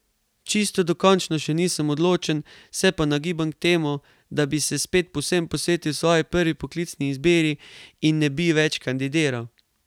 Čisto dokončno še nisem odločen, se pa nagibam k temu, da bi se spet povsem posvetil svoji prvi poklicni izbiri in ne bi več kandidiral.